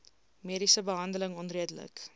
mediese behandeling onredelik